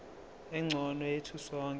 engcono yethu sonke